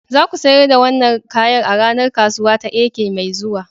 Za ku sayar da wannan kayan a ranar kasuwa ta Eke mai zuwa.